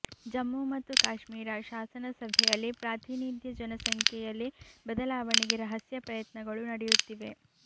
ಜಮ್ಮು ಮತ್ತು ಕಾಶ್ಮೀರ ಶಾಸನ ಸಭೆಯಲ್ಲಿ ಪಾತ್ರಿನಿಧ್ಯ ಜನಸಂಖ್ಯೆಯಲ್ಲಿ ಬದಲಾವಣೆಗೆ ರಹಸ್ಯ ಪ್ರಯತ್ನಗಳು ನಡಿಯುತ್ತಿವೆ